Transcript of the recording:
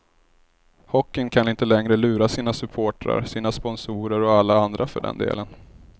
Hockeyn kan inte längre lura sina supportrar, sina sponsorer och alla andra för den delen.